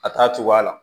A t'a cogoya la